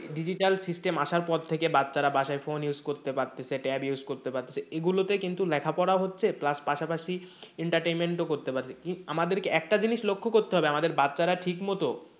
Digital system আসার পর থেকে বাচ্ছারা বাসায় phone use করতে পারতাছে tab use করতে পারতাছে এ গুলোতে কিন্তু লেখাপড়া হচ্ছে plus পাশাপাশি entertainment ও করতে পারছে আমাদেরকে একটি জিনিস লক্ষ্য করতে হবে আমাদের বাচ্ছারা ঠিকমত,